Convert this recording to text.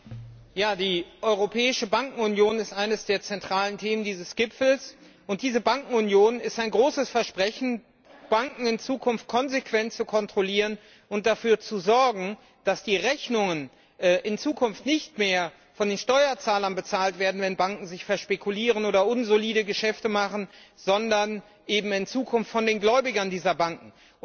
Herr Präsident! Die Europäische Bankenunion ist eines der zentralen Themen dieses Gipfels. Diese Bankenunion ist ein großes Versprechen, Banken in Zukunft konsequent zu kontrollieren und dafür zu sorgen, dass die Rechnungen in Zukunft nicht mehr von den Steuerzahlern bezahlt werden, wenn Banken sich verspekulieren oder unsolide Geschäfte machen, sondern eben in Zukunft von den Gläubigern dieser Banken.